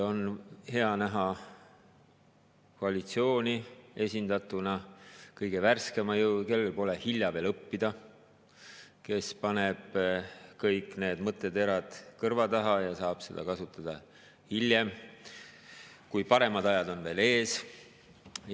On hea näha koalitsiooni esindatuna kõige värskema jõuga, kellel pole veel hilja õppida, kes paneb kõik need mõtteterad kõrva taha ja saab neid kasutada hiljem, kui paremad ajad on.